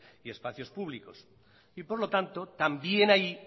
y espacios públicos y por lo tanto también ahí